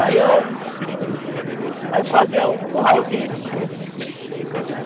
Aí eu aí eu fazia o curralzinho.